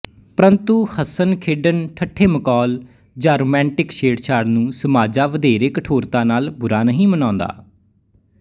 ਪ੍ਰੰਤੂ ਹੱਸਣਖੇਡਣ ਠੱਠੇਮਖੌਲ ਜਾਂ ਰੁਮਾਂਟਿਕ ਛੇੜਛਾੜ ਨੂੰ ਸਮਾਜਾ ਵਧੇਰੇ ਕਠੋਰਤਾ ਨਾਲ ਬੁਰਾ ਨਹੀਂ ਮਨਾਉਂਦਾ